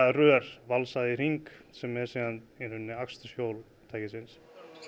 rör valsað í hring sem er í raun aksturshjól ökutækisins